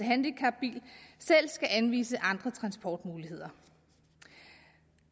handicapbil selv skal anvise andre transportmuligheder